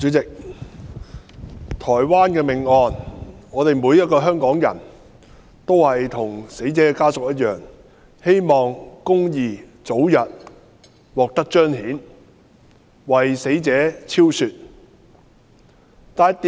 主席，對於台灣命案，每個香港人也與死者家屬一樣，希望公義早日獲得彰顯，令死者沉冤得雪。